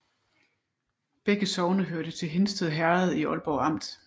Begge sogne hørte til Hindsted Herred i Ålborg Amt